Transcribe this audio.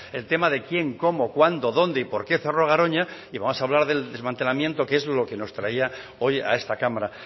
el tema de quién cómo cuándo dónde y por qué cerró garoña y vamos a hablar del desmantelamiento que es lo que nos traía hoy a esta cámara